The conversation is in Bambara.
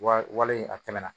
Wale a tɛmɛna